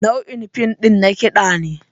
Nau'in fim ɗin na kiɗa ne.